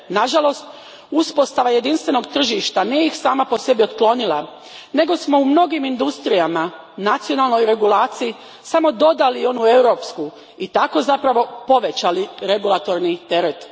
Nažalost, uspostava jedinstvenog tržišta nije ih sama po sebi otklonila, nego smo u mnogim industrijama nacionalnoj regulaciji samo dodali onu europsku i tako zapravo povećali regulatorni teret.